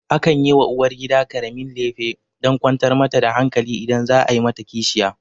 Akan yi wa uwargida ƙaramin lefe dan kwantar mata da hankali idan za a yi mata kishiya